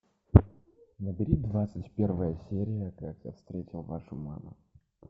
набери двадцать первая серия как я встретил вашу маму